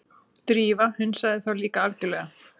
Drífa hunsaði þá líka algjörlega.